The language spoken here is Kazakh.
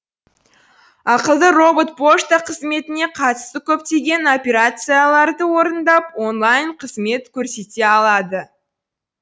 ақылды робот пошта қызметіне қатысты көптеген операцияларды орындап онлайн қызмет көрсете алады